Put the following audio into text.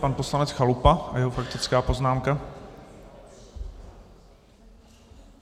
Pan poslanec Chalupa a jeho faktická poznámka.